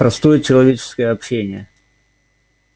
простое человеческое общение